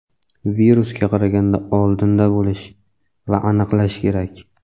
virusga qaraganda oldinda bo‘lish va aniqlash kerak.